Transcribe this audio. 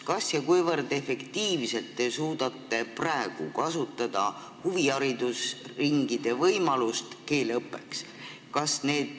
Kas ja kui efektiivselt te suudate praegu kasutada huviharidusringide võimalusi keeleõppeks?